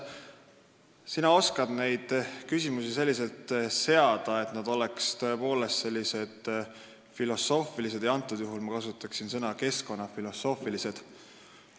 Sina oskad küsimusi seada selliselt, et need on tõepoolest filosoofilised, praegusel juhul ma kasutaksin sõna "keskkonnafilosoofilised".